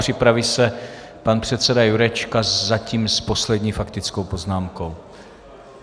Připraví se pan předseda Jurečka, zatím s poslední faktickou poznámkou.